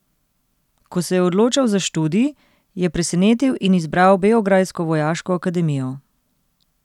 Ko se je odločal za študij, je presenetil in izbral beograjsko vojaško akademijo.